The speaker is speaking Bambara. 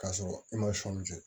K'a sɔrɔ i ma sɔnni kɛ